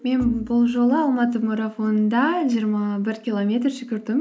мен бұл жолы алматы марафонында жиырма бір километр жүгірдім